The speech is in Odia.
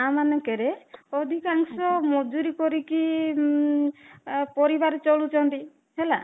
ଗାଁ ମାନଙ୍କରେ ଅଧିକାଂଶ ମଜୁରୀ କରି କି ଉମ ପରିବାର ଚଳୁଛନ୍ତି ହେଲା